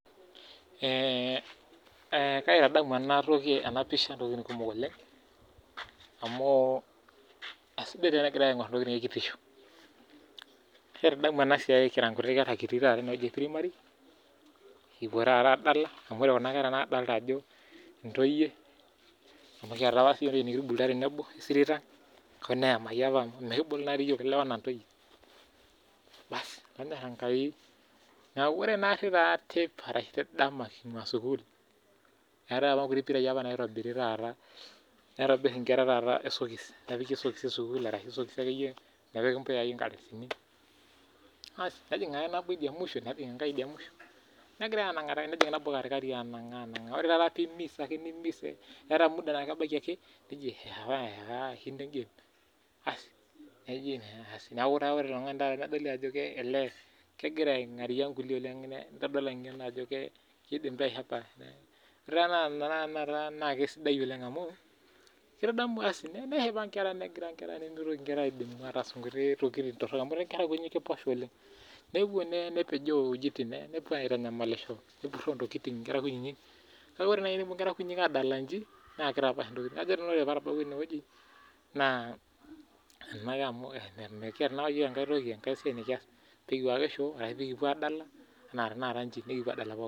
Kaitadamu ena pisha ntokiting kumok oleng, amu eisidai tenegirae aingor ntokiting ekitisho. Kaitadamu ena siai kira nkutitik nkera kitii primary kipuo taata adala amu ore kuna kera nadolita ajo ntoyie, amu kiyata apa nikitubulutua siiyiok tenebo, esirit ang oo neyamaki apa amu mikibulu naadi yiok lewa anaa ntoyie .Neeku ore taa naanari teipa ashu dama kingua sukul ,eetae apa nkuti pirai naitobiri naitobir nkera taata esokis esukul ashu esokis akeyie ,nepiki nkardasini asi nejing ake nabo idia mwisho nejing enkae idia musho netii enkae katikati asi negirae enanga ,ore ake taata mee eimis eetae ake muda naji eewa engame ,ore ilo tungani nedoli taata ajo kegira aingaria nkulie nedoli naa ajo keidim aihepa. Ore taata naa kisidai oleng amu ,keshipa nkera nimitoki aas ntokiting torok amu ore nkera nkititik naa kiposha oleng ,nepuo nepejoo wejitin nepuo aitanyamalisho nepuruo ntokiting nkera kunyinyik .Kake ore naaji pee epuo adala njii ,naa kitapaash ntokiting. Ajo nanu ore pee atabawua eneweji, naa endake amu mikiata na apa yiok enkae toki enkae siai nikias pee kipuo ake shoo nikipuo adala.